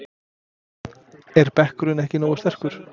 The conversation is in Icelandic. Er bekkurinn ekki nógu sterkur?